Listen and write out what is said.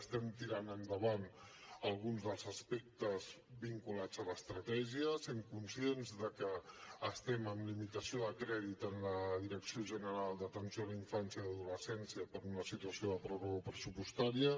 estem tirant endavant alguns dels aspectes vinculats a l’estratègia sent conscients de que estem en limitació de crèdit en la direcció general d’atenció a la infància i l’adolescència per una situació de pròrroga pressupostària